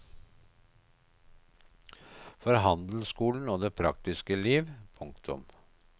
For handelsskolen og det praktiske liv. punktum